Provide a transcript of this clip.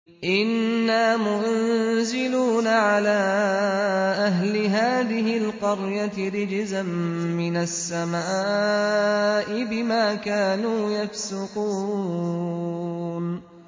إِنَّا مُنزِلُونَ عَلَىٰ أَهْلِ هَٰذِهِ الْقَرْيَةِ رِجْزًا مِّنَ السَّمَاءِ بِمَا كَانُوا يَفْسُقُونَ